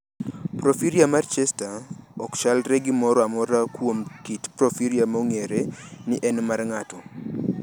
Porfiria mar Chester ok chalre gi moro amora kuom kit porfiria ma ong’ere ni en mar ng’ato.